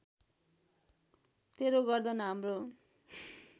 तेरो गर्दन हाम्रो